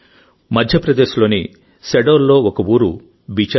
మధ్యప్రదేశ్ లోని శహడోల్ లో ఒక ఊరు బిచార్పూర్